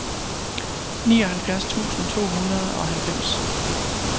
nioghalvfjerds tusind to hundrede og halvfems